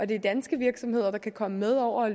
det er danske virksomheder der kan komme med over